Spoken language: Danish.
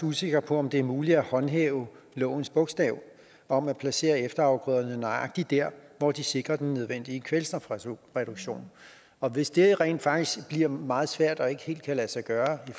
usikre på om det er muligt at håndhæve lovens bogstav om at placere efterafgrøderne nøjagtig der hvor de sikrer den nødvendige kvælstofreduktion og hvis det rent faktisk bliver meget svært og ikke helt kan lade sig gøre i